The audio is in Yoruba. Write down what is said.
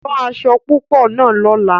Rán aṣọ̀ púpọ̀ náà lọ̀lá!